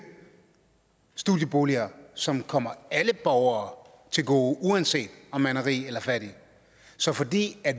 studieboliger som kommer alle borgere til gode uanset om man er rig eller fattig så fordi